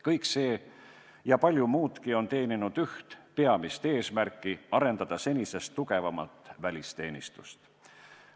Kõik see ja palju muudki on teeninud üht peamist eesmärki: arendada senisest tugevamalt välisteenistust.